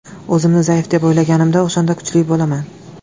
O‘zimni zaif deb o‘ylaganimda, o‘shanda kuchli bo‘laman.